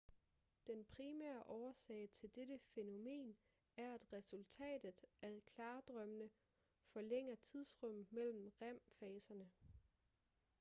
den primære årsag til dette fænomen er at resultatet af klardrømmene forlænger tidsrummet mellem rem-faser